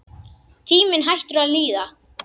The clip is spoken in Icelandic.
Tíminn hættur að líða.